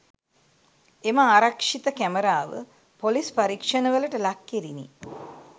එම ආරක්‍ෂිත කැමරාව පොලිස්‌ පරීක්‍ෂණවලට ලක්‌ කෙරිණි